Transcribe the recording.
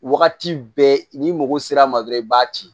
Wagati bɛɛ n'i mago sera a ma dɔrɔn i b'a ci